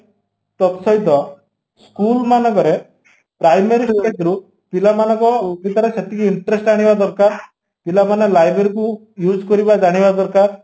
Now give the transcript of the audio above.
ତତ ସହିତ school ମାନଙ୍କରେ primary secretary ରୁ ପିଲା ମାନଙ୍କ ଭିତରେ ସେତିକି interest ଆଣିବା ଦରକାର ପିଲାମାନେ library କୁ use କରିବା ଜାଣିବା ଦରକାର